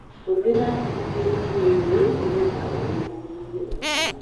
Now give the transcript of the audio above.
Hũthĩra njũkĩ irio-inĩ nĩgetha ũnyihanyihie thakame.